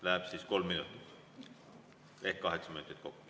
Läheb siis kolm minutit ehk kaheksa minutit kokku.